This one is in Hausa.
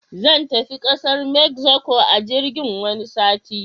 Zan tafi kasar mexico a jirgin wani sati.